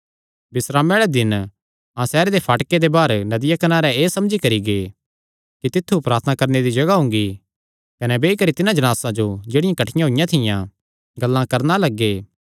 बिस्रामे आल़े दिन अहां सैहरे दे फाटके दे बाहर नदियां कनारे एह़ समझी करी गै कि तित्थु प्रार्थना करणे दी जगाह हुंगी कने बेई करी तिन्हां जणासा जो जेह्ड़ियां कठ्ठियां होईयां थियां गल्लां करणा लग्गे